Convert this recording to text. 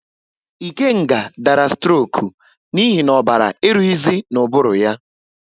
Ikenga dara stroku n'ihi na ọbara eruhizi n'ubulu ya